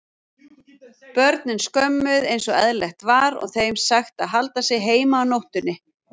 Börnin skömmuð einsog eðlilegt var og þeim sagt að halda sig heima á nóttunni.